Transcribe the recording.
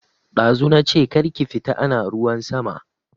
Dazu nache kar ki fita ana ruwan sama